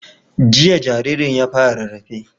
Jiya jaririn ya fara rarrafe